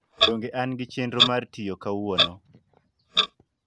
donge an gi chenro mar tiyo kauono